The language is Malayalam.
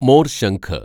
മോര്‍ശംഖ്